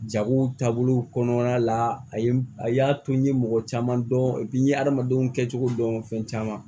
Jago taabolo kɔnɔna la a ye a y'a to n ye mɔgɔ caman dɔn n ye adamadenw kɛcogo dɔn fɛn caman